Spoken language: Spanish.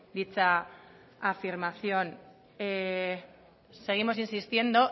dicha afirmación seguimos insistiendo